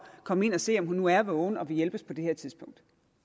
komme ind og se om hun nu er vågen og vil hjælpes på det tidspunkt